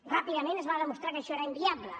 ràpidament es va demostrar que això era inviable